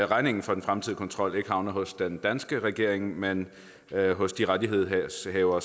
regningen for den fremtidige kontrol ikke havner hos den danske regering men hos de rettighedshavere